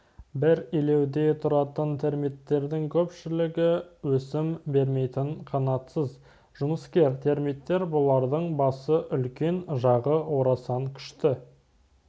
бір илеуде тұратын термиттердің көпшілігі өсім бермейтін қанатсыз жұмыскер термиттер бұлардың басы үлкен жағы орасан күшті